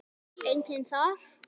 Enginn þar?